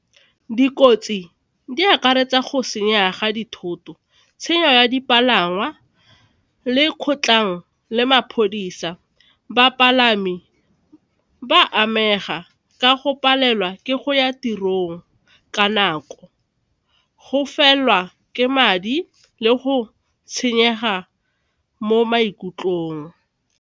Dikotsi di akaretsa go senya ga dithoto, tshenyo ya dipalangwa le kgotlang le maphodisa, bapalami ba amega ka go palelwa ke go ya tirong ka nako go felelwa ke madi le go senyega mo maikutlong.